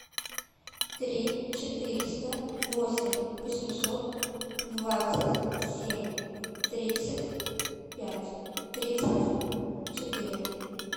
три четыреста восемь восемьсот двадцать семь тридцать пять тридцать четыре